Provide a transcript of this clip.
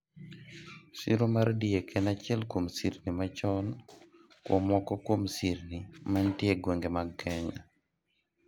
siro mar diek en achiel kuom sirni machon kuom moko kuom sirni manitie e gwenge mag Kenya